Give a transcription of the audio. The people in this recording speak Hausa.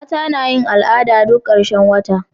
mata nayin al'ada duk karshen wata